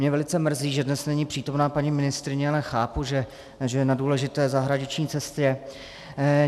Mě velice mrzí, že dnes není přítomna paní ministryně, ale chápu, že je na důležité zahraniční cestě.